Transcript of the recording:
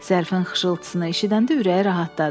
Zərfin xışıltısını eşidəndə ürəyi rahatladı.